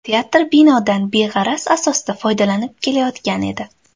Teatr binodan beg‘araz asosda foydalanib kelayotgan edi.